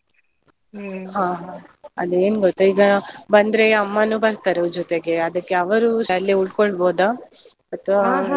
ಅದ್ ಏನ್ ಗೊತ್ತ, ಈಗ ಬಂದ್ರೆ ಅಮ್ಮಾನು ಬರ್ತಾರೆ ವು ಜೊತೆಗೆ ಅದಕ್ಕೆ ಅವರೂ ಅಲ್ಲೇ ಉಳ್ಕೊಳ್ಬೋದ?